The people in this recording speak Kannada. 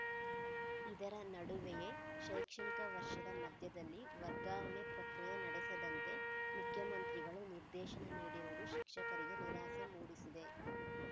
ಇದರ ನಡುವೆಯೇ ಶೈಕ್ಷಣಿಕ ವರ್ಷದ ಮಧ್ಯದಲ್ಲಿ ವರ್ಗಾವಣೆ ಪ್ರಕ್ರಿಯೆ ನಡೆಸದಂತೆ ಮುಖ್ಯಮಂತ್ರಿಗಳು ನಿರ್ದೇಶನ ನೀಡಿರುವುದು ಶಿಕ್ಷಕರಿಗೆ ನಿರಾಸೆ ಮೂಡಿಸಿದೆ